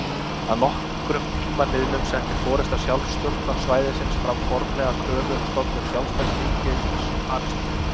Að nokkrum tíma liðnum setti forysta sjálfstjórnarsvæðisins fram formlega kröfu um stofnun sjálfstæðs ríkis Palestínu.